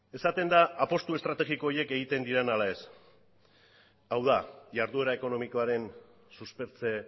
esaten da apustu estrategiko horiek egiten diren ala ez hau da jarduera ekonomikoaren suspertze